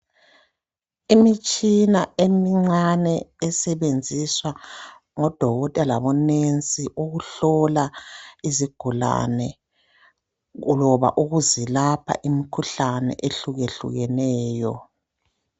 Imitshina emincane esebenziswa ngodokotela labo nesi ukuhlola izigulane loba ukuze lapha imikhuhlane ehlukehlukeneyo.